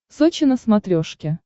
сочи на смотрешке